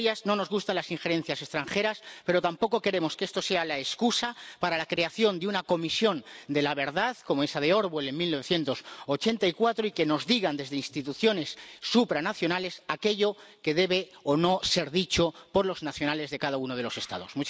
Señorías, no nos gustan las injerencias extranjeras, pero tampoco queremos que esto sea la excusa para la creación de una comisión de la verdad, como esa de Orwell en 1984 y que nos digan desde instituciones supranacionales aquello que debe o no ser dicho por los nacionales de cada uno de los Estados.